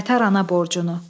Qaytar ana borcunu.